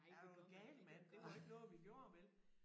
Er du gal mand det var ikke noget vi gjorde vel